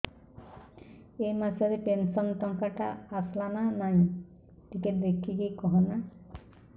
ଏ ମାସ ରେ ପେନସନ ଟଙ୍କା ଟା ଆସଲା ନା ନାଇଁ ଟିକେ ଦେଖିକି କହନା